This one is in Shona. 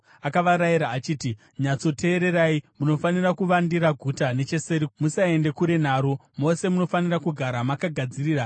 Akavarayira achiti, “Nyatsoteererai. Munofanira kuvandira guta necheseri kwaro. Musaende kure naro. Mose munofanira kugara makagadzirira.